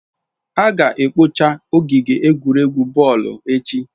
A ga-ekpochapu ogige egwuregwu boolu echi